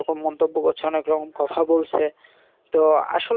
তো আসলে